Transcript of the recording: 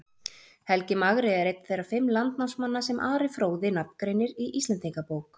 Helgi magri er einn þeirra fimm landnámsmanna sem Ari fróði nafngreinir í Íslendingabók.